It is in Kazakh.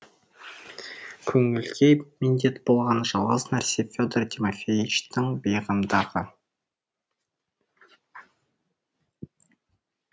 көңілге медет болған жалғыз нәрсе федор тимофеичтің бейғамдығы